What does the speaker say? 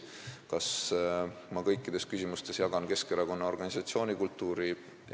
Kas ma kõikides küsimustes jagan Keskerakonna organisatsioonikultuuri?